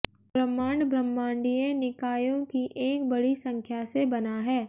ब्रह्मांड ब्रह्मांडीय निकायों की एक बड़ी संख्या से बना है